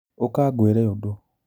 ũka ngwĩre ũndũ